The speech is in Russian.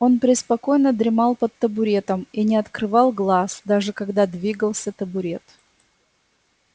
он преспокойно дремал под табуретом и не открывал глаз даже когда двигался табурет